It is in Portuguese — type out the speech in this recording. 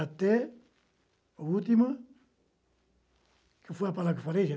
Até a última... Que foi a palavra que eu falei?